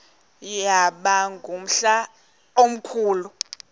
yaba ngumhla omkhulu